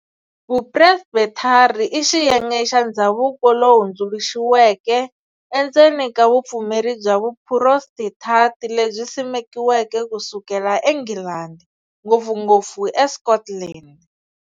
Vu Presbethari i xiyenge xa ndzhavuko lowu hundzuluxiweke endzeni ka vupfumeri bya vu Phurostentanti, lebyi simekiweke kusukela eNghilandi, ngopfungopfu eScotland.